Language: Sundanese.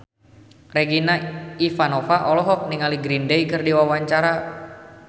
Regina Ivanova olohok ningali Green Day keur diwawancara